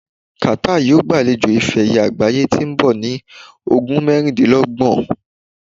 Qatar yóò gbalejo ife ẹ̀yẹ àgbáyé to nbọ ní ogun mẹrindinlọgbọn